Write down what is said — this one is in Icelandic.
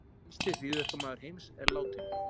Helsti hryðjuverkamaður heims er látinn